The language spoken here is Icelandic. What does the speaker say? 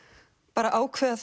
bara að ákveða